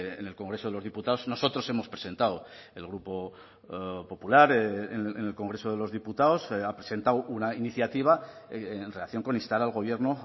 en el congreso de los diputados nosotros hemos presentado el grupo popular en el congreso de los diputados ha presentado una iniciativa en relación con instar al gobierno